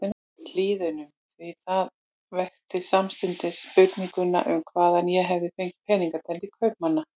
Hlíðunum, því það vekti samstundis spurninguna um hvaðan ég hefði fengið peninga til kaupanna.